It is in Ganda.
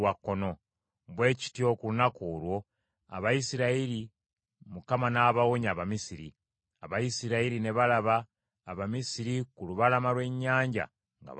Bwe kityo ku lunaku olwo Abayisirayiri Mukama n’abawonya Abamisiri. Abayisirayiri ne balaba Abamisiri ku lubalama lw’ennyanja nga bafudde.